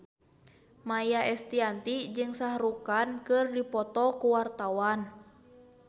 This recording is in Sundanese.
Maia Estianty jeung Shah Rukh Khan keur dipoto ku wartawan